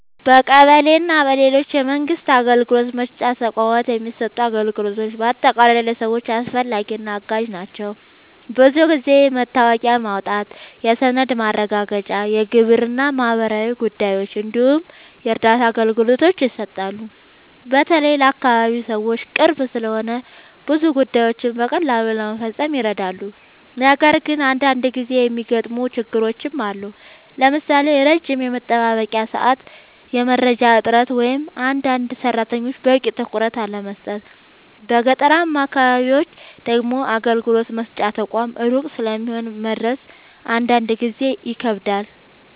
በቀበሌ እና በሌሎች የመንግስት አገልግሎት መስጫ ተቋማት የሚሰጡ አገልግሎቶች በአጠቃላይ ለሰዎች አስፈላጊ እና አጋዥ ናቸው። ብዙ ጊዜ የመታወቂያ ማውጣት፣ የሰነድ ማረጋገጫ፣ የግብር እና ማህበራዊ ጉዳዮች እንዲሁም የእርዳታ አገልግሎቶች ይሰጣሉ። በተለይ ለአካባቢ ሰዎች ቅርብ ስለሆኑ ብዙ ጉዳዮችን በቀላሉ ለመፈጸም ይረዳሉ። ነገር ግን አንዳንድ ጊዜ የሚገጥሙ ችግሮችም አሉ፣ ለምሳሌ ረጅም የመጠበቂያ ሰዓት፣ የመረጃ እጥረት ወይም አንዳንድ ሰራተኞች በቂ ትኩረት አለመስጠት። በገጠራማ አካባቢዎች ደግሞ አገልግሎት መስጫ ተቋማት ሩቅ ስለሚሆኑ መድረስ አንዳንድ ጊዜ ይከብዳል።